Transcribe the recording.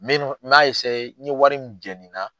Me n m'a n ye wari min jeni